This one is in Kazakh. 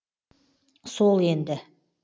сол енді